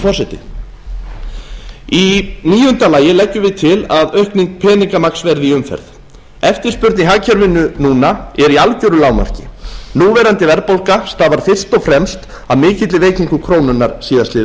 forseti í níunda lagi leggjum við til að aukning peningamagns verði í umferð eftirspurn í hagkerfinu núna er í algjöru lágmarki núverandi verðbólga stafar fyrst og fremst af mikilli veikingu krónunnar síðastliðið